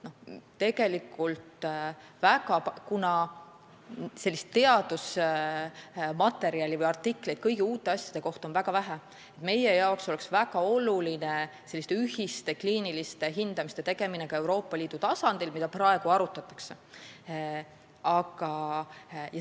Kuna teadusartikleid uute asjade kohta on väga vähe, siis meile oleks väga oluline ühiste kliiniliste hindamiste tegemine Euroopa Liidu tasandil, mida praegu arutatakse.